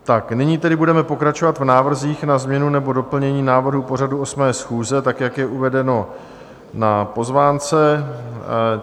Tak nyní tedy budeme pokračovat v návrzích na změnu nebo doplnění návrhu pořadu 8. schůze, tak jak je uvedeno na pozvánce.